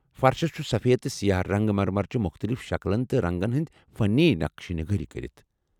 فرشس چھ سفید تہٕ سیاہ سنگ مرمرٕچہِ مُختلِف شكلن تہٕ رنگن ہنز فنی نقشہِ كٲری كرِتھ ۔